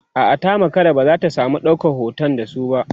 a'a ta makara ba zata samu ɗaukan hoton da su ba